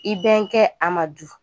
I bɛnkɛ Amadu